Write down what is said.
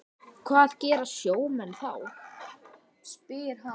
Hvað gera sjómenn þá?